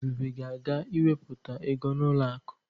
Ebube ga-aga iwepụta ego n'ụlọ akụ.